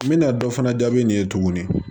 N bɛna dɔ fana jaabi nin ye tuguni